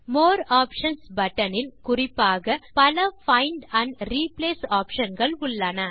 மோர் options button இல் குறிப்பாக பல பைண்ட் ஆண்ட் ரிப்ளேஸ் ஆப்ஷன் கள் உள்ளன